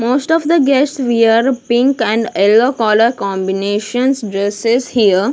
Most of the guests wear pink and yellow color combinations dresses here.